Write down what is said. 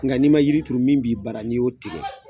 Nka ni ma yiri turu min b'i bara ni y'o tigɛ